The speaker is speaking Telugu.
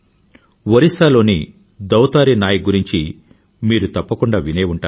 ఒరిస్సా లోని దౌతారీ నాయక్ గురించి మీరు తప్పకుండా వినే ఉంటారు